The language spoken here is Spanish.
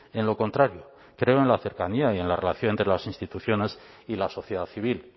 en lo contrario creo en la cercanía y en la relación entre las instituciones y la sociedad civil